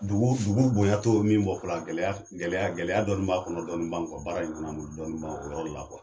Dugu dugu bonya tɔ min bɔ fɔlɔ a gɛlɛya gɛlɛya gɛlɛya dɔɔni b'a kɔnɔ, dɔɔni b'anw kɔ baara in kɔnɔ, an b'olu dɔɔni b'anw ko o yɔrɔ la